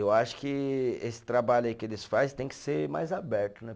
Eu acho que esse trabalho aí que eles faz tem que ser mais aberto, né?